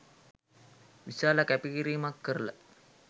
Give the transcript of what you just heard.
විශාල කැපකිරීමක් කරල